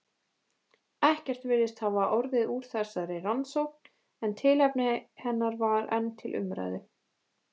Ekkert virðist hafa orðið úr þessari rannsókn, en tilefni hennar var enn til umræðu.